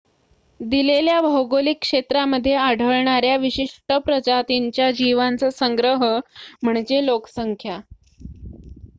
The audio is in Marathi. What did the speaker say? दिलेल्या भौगोलिक क्षेत्रामध्ये आढळणाऱ्या विशिष्ट प्रजातींच्या जीवांचा संग्रह म्हणजे लोकसंख्या